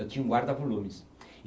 Eu tinha um guarda-volumes.